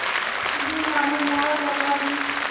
पर भी मानो मुहर लगा दी